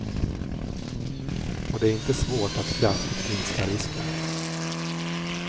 Och det är inte svårt att kraftigt minska risken.